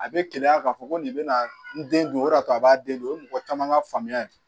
A bɛ keleya ka fɔ ko nin bɛna n den dun o de y'a to a b'a den don o ye mɔgɔ caman ka faamuya ye